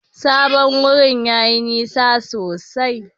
Sabon wurin yayi nisa sosai.